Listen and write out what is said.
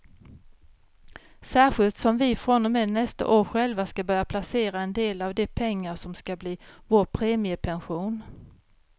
Särskilt som vi från och med nästa år själva ska börja placera en del av de pengar som ska bli vår premiepension.